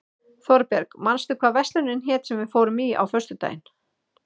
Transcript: Þorberg, manstu hvað verslunin hét sem við fórum í á föstudaginn?